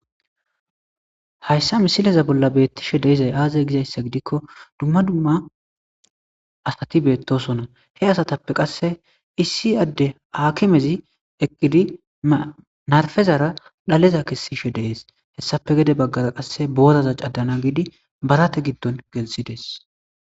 Hayssa misileza bolla beeththishee de7izay aazee gizeyssa gidikko dumma dumma asathi beeththoosona; he asathappe qassi issi addee haakimezi eqqizi mafezaara dhaleza kessishe de7ees; hessappe gede baggaara qassi booratha caddana gizi barathe giddon gelissi des.